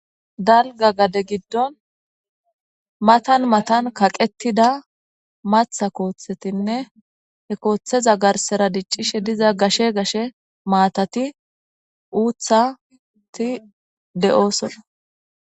Dalga gade giddon matan matan kaqettida maththa kooththetinne he kooththeza garsara diccishe diza gashe maatati uuththati de7osona.